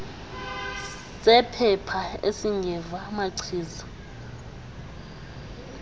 sephepha esingeva machiza